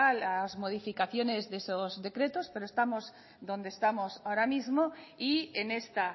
las modificaciones de esos decretos pero estamos donde estamos ahora mismo y en esta